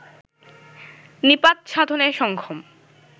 নিপাত সাধনে সক্ষম